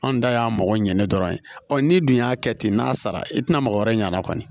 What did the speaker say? Anw da y'a mɔgɔ ɲɛne dɔrɔn ye ɔ n'i dun y'a kɛ ten n'a sara i tina mɔgɔ wɛrɛ ɲ'a na kɔni